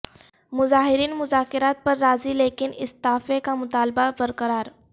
مظاہرین مذاکرات پر راضی لیکن استعفے کا مطالبہ برقرار